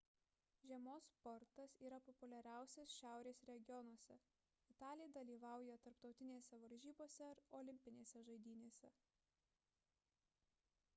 žiemos sportas yra populiariausias šiaurės regionuose – italai dalyvauja tarptautinėse varžybose ir olimpinėse žaidynėse